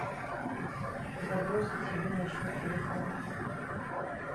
забросить себе на счет телефона